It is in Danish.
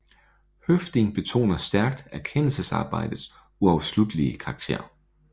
Høffding betoner stærkt erkendelsesarbejdets uafsluttelige karakter